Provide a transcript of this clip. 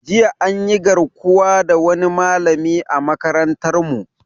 Jiya anyi garkuwa da wani malami a makarantar mu